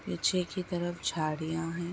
पीछे की तरफ झाड़िया हैं।